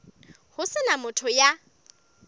ho se na motho ya